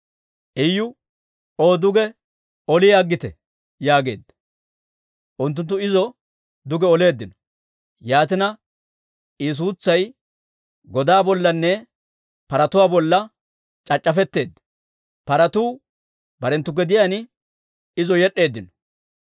Iyu, «O duge oli aggite!» yaageedda. Unttunttu izo duge oleeddino. Yaatina I suutsay godaa bollanne paratuwaa bollanne c'ac'c'afetteedda; paratuu barenttu gediyaan izo yed'd'eeddino.